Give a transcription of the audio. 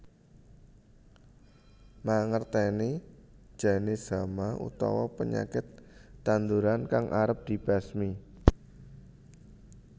Mangertèni janis hama utawa penyakit tanduran kang arep dibasmi